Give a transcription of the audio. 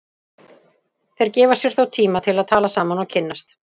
Þeir gefa sér þó tíma til að tala saman og kynnast.